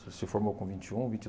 Se formou com vinte e um, vinte e